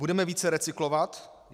Budeme více recyklovat?